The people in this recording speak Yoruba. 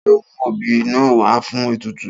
Ta ló mú obì náà wá fún ètùtù?